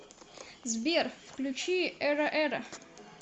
сбер включи эра эра